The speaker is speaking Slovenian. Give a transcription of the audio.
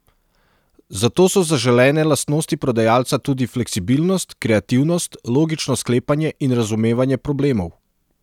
Zato so zaželene lastnosti prodajalca tudi fleksibilnost, kreativnost, logično sklepanje in razumevanje problemov.